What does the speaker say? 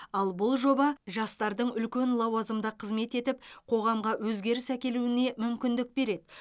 ал бұл жоба жастардың үлкен лауазымда қызмет етіп қоғамға өзгеріс әкелуіне мүмкіндік береді